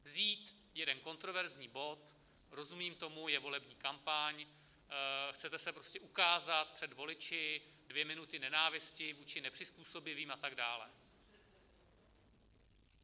Vzít jeden kontroverzní bod - rozumím tomu, je volební kampaň, chcete se prostě ukázat před voliči, dvě minuty nenávisti vůči nepřizpůsobivým a tak dále.